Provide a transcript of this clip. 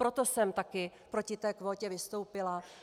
Proto jsem také proti té kvótě vystoupila.